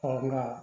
Farafinna